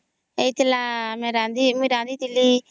ହେଇଥିଲା ମୁଇଁ ରାନ୍ଧିଥିଲି